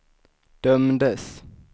dömdes